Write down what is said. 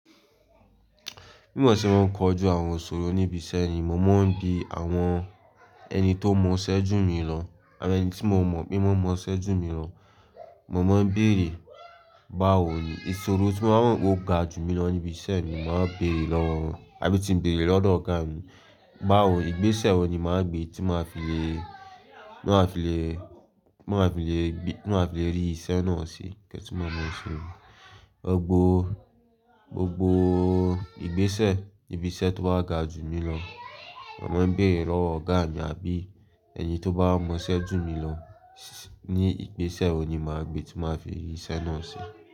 Bí mo ṣe máa ń kojú àwọn ìṣòro níbi iṣẹ́ ni, mo máa ń bi àwọn ẹni tó mọ iṣẹ́ jù mi lọ àbí ẹni tí mo mọ̀ pé wọ́n mọ iṣẹ́ jù mi lọ, mo máa ń bèrè, "báwo ni?" Ìṣòro tí mo bá mọ̀ pé ó ga jù mí lọ níbi iṣẹ́ ni màá bèrè lọ́wọ́, àbí tí mo bèrè lọ́dọ̀ ọ̀gá mi, "báwo, ìgbésẹ̀ wo ni màá gbe tí màá fi le, tí màá fi le, tí màá fi le, tí màá fi le rí iṣẹ́ náà ṣe?" Ní kẹ́tí mo mọ ìṣòro. Ọ̀pọ̀, gbogbo ìgbésẹ̀ níbi iṣẹ́ tó bá ga jù mí lọ, màá ń bèrè lọ́wọ́ ọ̀gá mi àbí ẹni tó bá mọ iṣẹ́ jù mi lọ, "ní ìgbésẹ̀ wo ni màá gbe tí màá fi rí iṣẹ́ náà ṣe?"